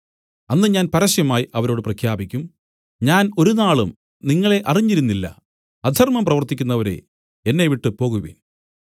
അന്ന് ഞാൻ പരസ്യമായി അവരോട് പ്രഖ്യാപിക്കും ഞാൻ ഒരുനാളും നിങ്ങളെ അറിഞ്ഞിരുന്നില്ല അധർമ്മം പ്രവർത്തിക്കുന്നവരേ എന്നെവിട്ടു പോകുവിൻ